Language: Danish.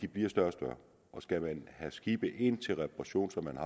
bliver større og større og skal man have skibe ind til reparation sådan